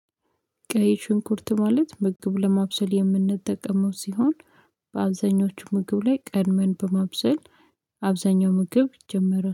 ቀይ ሽንኩርት ማለት ምግብ ለማብሰል የምንጠቀመው ሲሆን በአብዛኞቹ ምግብ ላይ ቀድመን በማብሰል አብዛኛው ምግብ ይጀመራል።